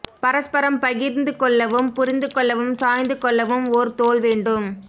பரஸ்பரம் பகிர்ந்துகொள்ளவும் புரிந்து கொள்ளவும் சாய்ந்து கொள்ளவும் ஓர் தோள் வேண்டும்